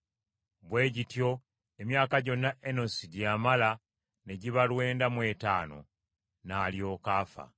Bwe gityo emyaka gyonna Enosi gye yamala ne giba lwenda mu etaano; n’alyoka afa.